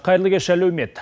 қайырлы кеш әлеумет